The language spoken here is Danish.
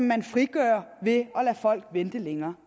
man frigør ved at lade folk vente længere